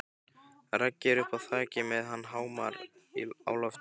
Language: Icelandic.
Raggi er uppi á þaki með hamar á lofti.